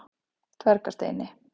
Dvergasteini